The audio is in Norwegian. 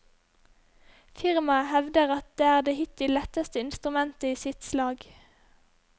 Firmaet hevder at det er det hittil letteste instrument i sitt slag.